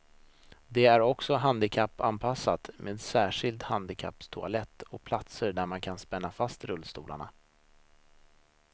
Det är också handikappanpassat med särskild handikapptoalett och platser där man kan spänna fast rullstolarna.